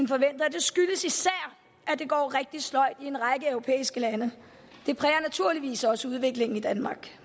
skyldes især at det går rigtig sløjt i en række europæiske lande det præger naturligvis også udviklingen i danmark